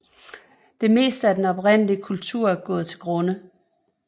Det meste af den oprindelige kultur er gået til grunde